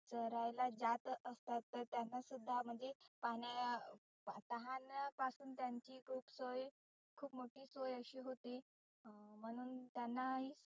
चरायला जात असतात. तर त्यांना सुद्धा म्हणजे पाण्या तहान पासुन त्यांची खुप सोय खुप मोठी सोय अशी होती. अं म्हणुन त्यांना